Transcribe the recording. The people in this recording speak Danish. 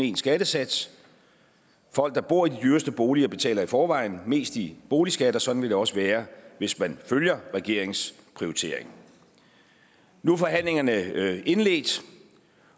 en skattesats folk der bor i de dyreste boliger betaler i forvejen mest i boligskat og sådan vil det også være hvis man følger regeringens prioritering nu er forhandlingerne indledt